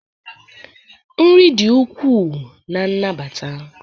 nri dị ukwuu na nnabata